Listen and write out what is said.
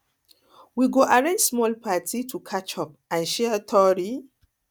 we go arrange small party to catch up and share tori